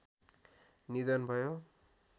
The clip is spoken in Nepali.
निधन भयो